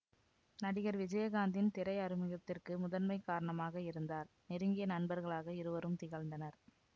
நடிகர் விஜயகாந்த்தின் திரை அறிமுகத்திற்கு முதன்மை காரணமாக இருந்தார் நெருங்கிய நண்பர்களாக இருவரும் திகழ்ந்தனர்